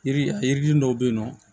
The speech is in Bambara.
Yiri yiriden dɔw bɛ yen nɔ